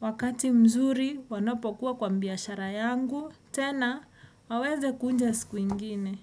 wakati mzuri wanapokuwa kwa biashara yangu. Tena waweze kuja siku ingine.